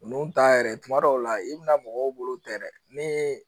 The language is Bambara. Nunnu ta yɛrɛ kuma dɔw la i bi na mɔgɔw bolo ta yɛrɛ ni